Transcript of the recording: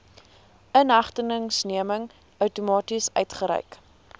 inhegtenisneming outomaties uitgereik